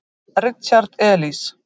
Richard Elis.